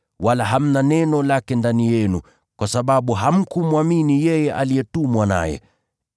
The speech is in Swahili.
wala hamna neno lake ndani yenu, kwa sababu hamkumwamini yeye aliyetumwa naye.